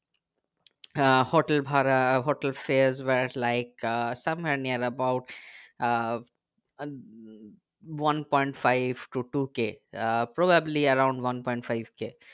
আহ hotel ভাড়া hotel fares was like somewhere near about uh one point five two two k uh probably around one point five k